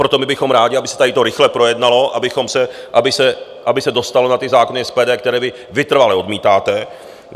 Proto my bychom rádi, aby se to tady rychle projednalo, aby se dostalo na ty zákony SPD, které vy vytrvale odmítáte.